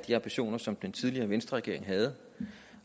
de ambitioner som den tidligere venstreregering havde